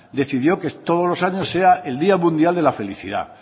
decidió que todos los años sea el día mundial de la felicidad